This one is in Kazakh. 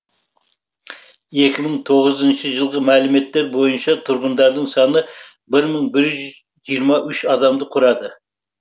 екі мың тоғызыншы жылғы мәліметтер бойынша тұрғындарының саны бір мың бір жүз жиырма үш адамды құрады